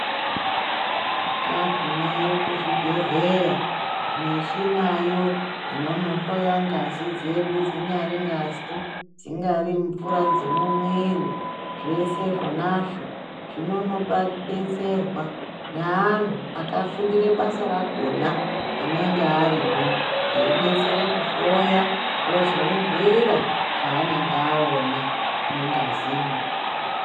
Tagumeyo kuzvibhedhleya michinayo ononoyoya ngazi dzedu dzinyari ngazi, dzingari mvura dzemumwiri zvese zvonazvo zvinonobetserwa maantu akafundire basa rakona anenge arimwo. Eibetsere kuhloya ozomubhuira zvaanenge aona mungazimo.